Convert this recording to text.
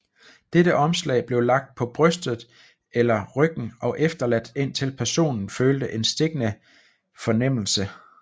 Dette omslag blev lagt på brystet eller ryggen og efterladt indtil personen følte en stikkende fornemmelse